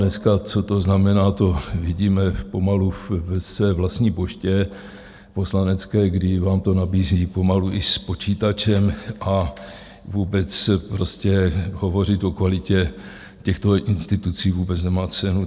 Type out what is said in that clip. Dneska, co to znamená, to vidíme pomalu ve své vlastní poště poslanecké, kdy vám to nabízí pomalu i s počítačem, a vůbec prostě hovořit o kvalitě těchto institucí vůbec nemá cenu.